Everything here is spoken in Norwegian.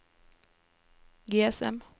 GSM